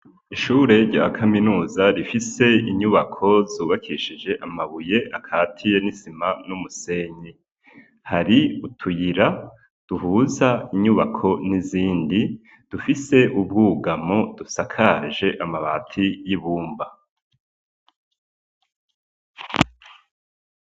Ishure rya kaminuza rifise inyubako zubakishije amabuye akatiye n'isima n'umusenyi, hari utuyira duhuza inyubako n'izindi dufise ubwugamo dusakaje amabati y'ibumba.